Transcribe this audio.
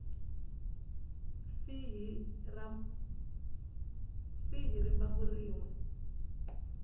fi hi rimbambu rin we